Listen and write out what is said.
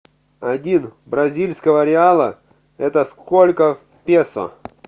один бразильского реала это сколько песо